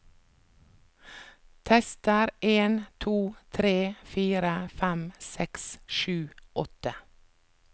Tester en to tre fire fem seks sju åtte